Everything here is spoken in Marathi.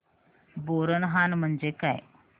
बोरनहाण म्हणजे काय